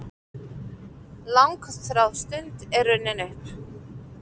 Langþráð stund er runnin upp!